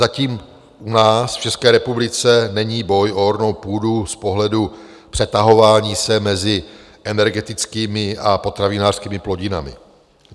Zatím u nás v České republice není boj o ornou půdu z pohledu přetahování se mezi energetickými a potravinářskými plodinami.